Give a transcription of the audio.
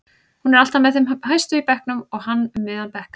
Hún er alltaf með þeim hæstu í bekknum en hann um miðjan bekk.